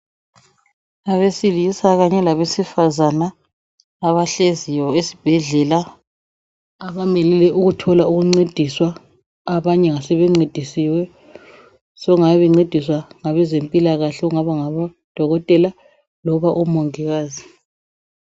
Abesilisa kanye labesifazana abahleziyo esibhedlela abamelele ukuthola ukuncediswa . Abanye ngabasebencedisiwe sokungabe bencediswa ngabezempilakahle osokungaba ngabodokotela loba omongikazi.